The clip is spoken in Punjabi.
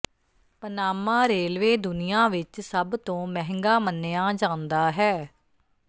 ਪਨਾਮਾ ਰੇਲਵੇ ਦੁਨੀਆਂ ਵਿਚ ਸਭ ਤੋਂ ਮਹਿੰਗਾ ਮੰਨਿਆ ਜਾਂਦਾ ਹੈ